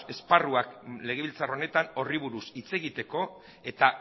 esparruak legebiltzar honetan horri buruz hitz egiteko eta